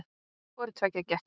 Hvoru tveggja gekk eftir.